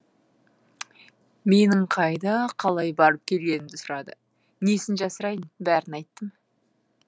менің қайда қалай барып келгенімді сұрады несін жасырайын бәрін айттым